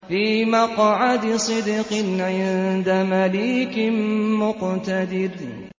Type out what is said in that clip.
فِي مَقْعَدِ صِدْقٍ عِندَ مَلِيكٍ مُّقْتَدِرٍ